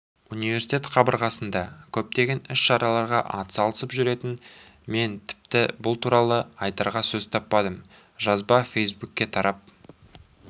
университет қабырғасында көптеген іс-шараларға атсалысып жүретін мен тіпті бұл туралы айтарға сөз таппадым жазба фейсбукке тарап